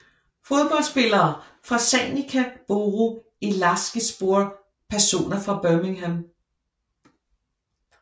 Fodboldspillere fra Sanica Boru Elazığspor Personer fra Birmingham